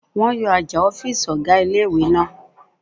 Wọ́n yọ àjà ọ̀fìsì ọ̀gá ilé-ìwé náà